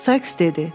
Sayks dedi: